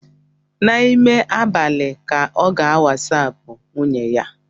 N'ime abalị ka ọ ga-wasapu nwunye ya